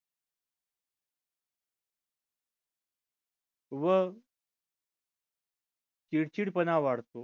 व चिडचिडपणा वाढतो